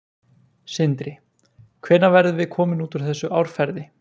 Sindri: Hvenær verðum við komin út úr þessu árferði?